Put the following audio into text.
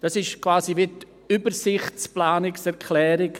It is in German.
Diese ist quasi eine Übersichtsplanungserklärung.